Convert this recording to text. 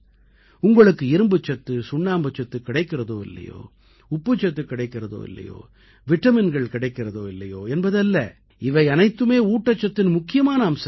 உங்களுக்கு இரும்புச்சத்து சுண்ணாம்புச்சத்து கிடைக்கிறதோ இல்லையோ உப்புச்சத்து கிடைக்கிறதோ இல்லையோ விட்டமின்கள் கிடைக்கிறதோ இல்லையோ என்பது அல்ல இவை அனைத்துமே ஊட்டச்சத்தின் முக்கியமான அம்சங்கள்